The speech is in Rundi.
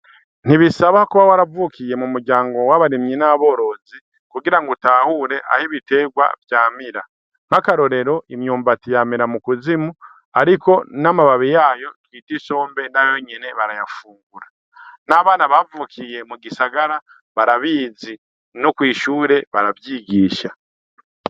Ntibisaba kuba waravukiye mumuryango w'abarimyi n'aborozi kugirango utahure aho ibiterwa vyamira nkakarorero imyumbati yamira mukuzimu ariko n'amababi yayo bita isombe barayafungura n'abana bavukiye m'ugisagara barabizi no kwishuri baravyigisha.